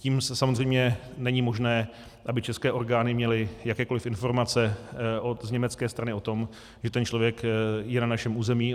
Tím samozřejmě není možné, aby české orgány měly jakékoli informace z německé strany o tom, že ten člověk je na našem území.